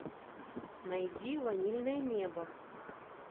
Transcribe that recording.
найди ванильное небо